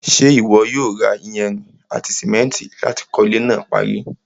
ṣé ìwọ yóò ra iyanrìn àti sìmẹ́ntì láti kọ́ ilẹ́ náà parí?